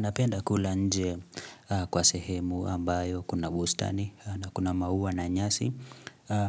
Napenda kula nje kwa sehemu ambayo kuna bustani na kuna maua na nyasi,